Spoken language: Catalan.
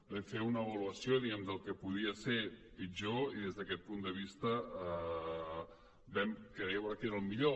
vam fer una avaluació diguem ne del que podia ser pitjor i des d’aquest punt de vista vam creure que era el millor